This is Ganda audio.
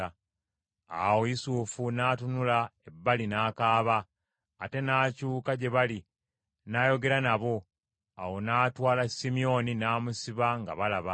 Awo Yusufu n’atunula ebbali n’akaaba, ate n’akyuka gye bali n’ayogera nabo. Awo n’atwala Simyoni n’amusiba nga balaba.